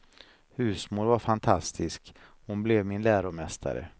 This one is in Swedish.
Husmor var fantastisk, hon blev min läromästare.